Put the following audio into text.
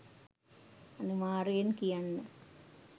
අනිවාර්යයෙන් කියන්න.